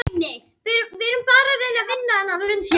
Fjallalind